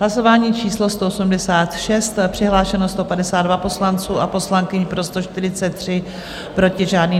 Hlasování číslo 186, přihlášeno 152 poslanců a poslankyň, pro 143, proti žádný.